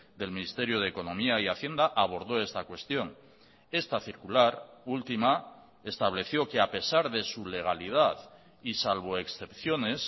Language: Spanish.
del ministerio de economía y hacienda abordó esta cuestión esta circular última estableció que a pesar de su legalidad y salvo excepciones